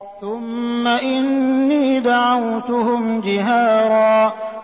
ثُمَّ إِنِّي دَعَوْتُهُمْ جِهَارًا